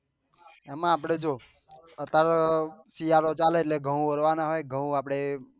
એમાં આપડે જો અત્યારે શિયાળો ચાલે છે તો ઘઉં ભરવા ના હોય ઘઉં આપડે